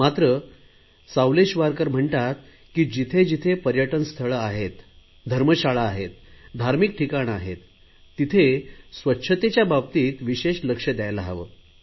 मात्र सावलेशवारकर म्हणतात की जिथे जिथे पर्यटनस्थळे आहेत धर्मशाळा आहेत धार्मिक ठिकाणे आहेत तिथे स्वच्छतेच्या बाबतीत विशेष लक्ष दयायला हवे